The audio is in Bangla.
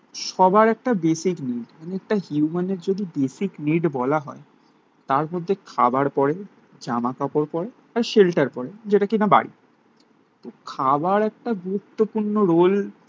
সবার একটা বেসিক নিডস একটা হিউমানের যদি একটা বেসিক নিড বলা হয় তার মধ্যে খাবার পড়ে, জামাকাপড় পড়ে আর শেল্টার পড়ে. যেটা কিনা বাড়ি. তো খাবার একটা গুরুত্বপূর্ণ রোল